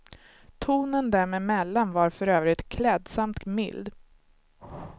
Tonen dem emellan var för övrigt klädsamt mild.